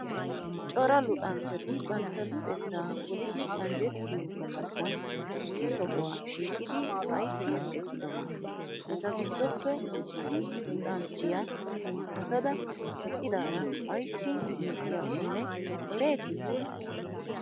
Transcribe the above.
cora luxanchchati bantta luxetta polidi anjjettiyo gallassan issi sohuwa shiqqidi aysi eqqidonaa? etaa giddoppe issi luxanchchiya sinttatadaa eqqidaraa aysi miicciyakonne ereeti?